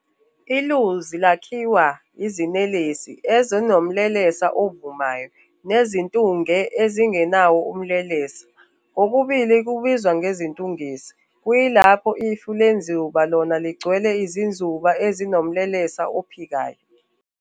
INuzi lakhiwa izinelesi ezinomlelesa ovumayo nezintunge ezingenawo umlelesa, kokubili kubizwa izintungesi, kuyilapho ifu lenzuba lona ligcwele izinzuba ezinomlelesa ophikayo.